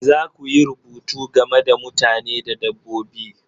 Za ku yi rubutu game da mutane da dabbobi